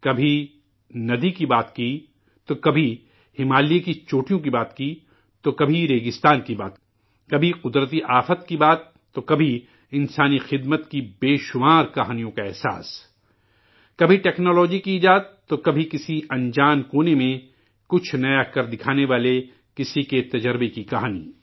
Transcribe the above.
کبھی ندی کی بات تو کبھی ہمالیہ کی چوٹیوں کی بات، تو کبھی ریگستان کی بات، کبھی قدرتی آفات کی بات، تو کبھی انسانی خدمات بے شمار کہانیوں کا احساس ، کبھی ٹکنالوجی کی ایجاد، تو کبھی کسی انجان گوشے میں، کچھ نیا کر کےدکھانے والے کسی کے تجربہ کی کہانی